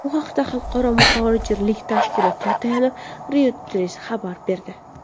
Bu haqda Xalqaro muhojirlik tashkilotiga tayanib, Reuters xabar berdi .